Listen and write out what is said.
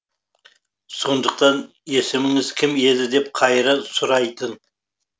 сондықтан есіміңіз кім еді деп қайыра сұрайтын